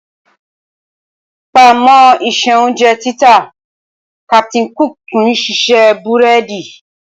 Papọ̀mọ́ iṣẹ́ oúnjẹ títà, Captain cook tún ṣiṣẹ́ búrẹ́dì